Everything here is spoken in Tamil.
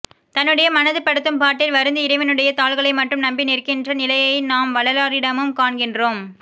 தன்னுடைய மனது படுத்தும் பாட்டில் வருந்தி இறைவனுடைய தாள்களை மட்டும் நம்பி நிற்கின்ற நிலையை நாம் வள்ளலாரிடமும் காண்கின்றோம்